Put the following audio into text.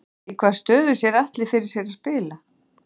Í hvaða stöðu sér Atli fyrir sér að spila?